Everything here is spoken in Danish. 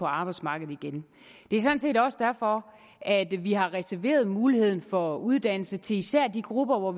arbejdsmarkedet igen det er sådan set også derfor at vi har reserveret muligheden for uddannelse til især de grupper